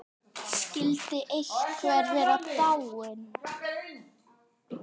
Skyldi einhver vera dáinn?